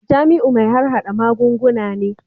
Jamiu mai harhada magunguna ne